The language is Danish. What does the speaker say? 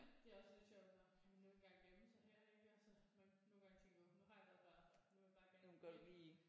Det er også lidt sjovt når man nu gerne vil gemme sig her ikke altså man nogle gange tænker nu har jeg været på nu vil jeg bare gerne hjem